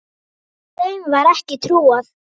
Þeim var ekki trúað.